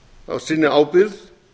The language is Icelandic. á sinni ábyrgð